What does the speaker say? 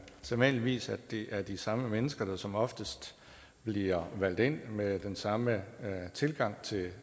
sædvanligvis at det er de samme mennesker der som oftest bliver valgt ind med den samme tilgang